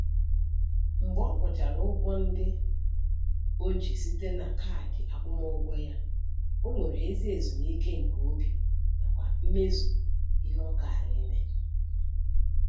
Mgbe ọ kwụchara ụgwọ ndị o ji site na kaadị akwụmụụgwọ ya, o nwere ezi ezumike nke obi nakwa mmezu ihe ọ kara ime.